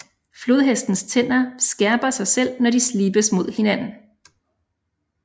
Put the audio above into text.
Flodhestens tænder skærper sig selv når de slibes mod hinanden